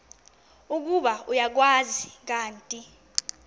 ukuba uyakwazi kanti